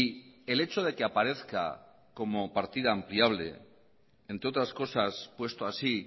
el hecho de que aparezca como partida ampliable entre otras cosas puesto así